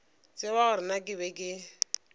tsebe gore na ke be